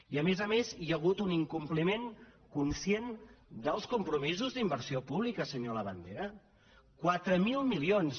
i a més a més hi ha hagut un incompliment conscient dels compromisos d’inversió pública senyor labandera quatre mil milions